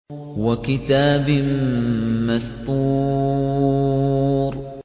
وَكِتَابٍ مَّسْطُورٍ